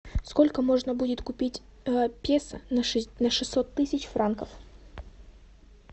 сколько можно будет купить песо на шестьсот тысяч франков